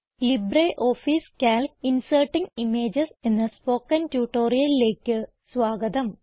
LibreOffice Calc inserting images എന്ന spoken ട്യൂട്ടോറിയലിലേക്ക് സ്വാഗതം